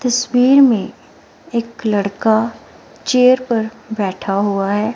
तस्वीर में एक लड़का चेयर पर बैठा हुआ है।